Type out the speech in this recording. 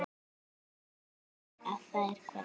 Hrædd við að þær hverfi.